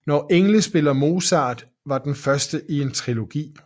Når engle spiller Mozart var den første i en trilogi